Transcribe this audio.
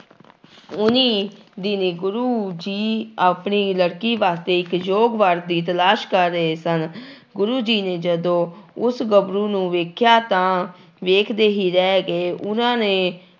ਓਨੀ ਦਿਨੀ ਗੁਰੂ ਜੀ ਆਪਣੀ ਲੜਕੀ ਵਾਸਤੇ ਇੱਕ ਯੋਗ ਵਰ ਦੀ ਤਲਾਸ਼ ਕਰ ਰਹੇ ਸਨ ਗੁਰੂ ਜੀ ਨੇ ਜਦੋਂ ਉਸ ਗੱਭਰੂ ਨੂੰ ਵੇਖਿਆ ਤਾਂ ਵੇਖਦੇ ਹੀ ਰਹਿ ਗਏ, ਉਹਨਾਂ ਨੇ